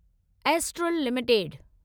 astral limited